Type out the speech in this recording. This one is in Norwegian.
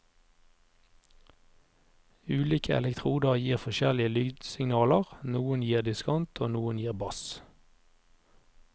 Ulike elektroder gir forskjellige lydsignaler, noen gir diskant og noen gir bass.